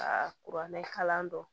Aa kuranɛkalan don